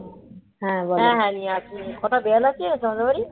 হ্যাঁ হ্যাঁ নিয়ে আসব কটা বিরাল আছে তোমাদের বাড়ি